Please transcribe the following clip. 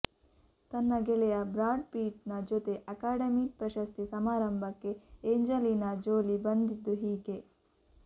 ತನ್ನ ಗೆಳೆಯ Brad Pitt ನ ಜೊತೆ ಅಕಾಡೆಮಿ ಪ್ರಶಸ್ತಿ ಸಮಾರಂಭಕ್ಕೆ ಏಂಜಲೀನಾ ಜೋಲಿ ಬಂದಿದ್ದು ಹೀಗೆ